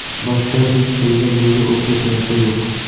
boshqa hech kimda bunga o‘xshash narsa yo‘q.